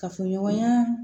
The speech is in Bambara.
Kafoɲɔgɔnya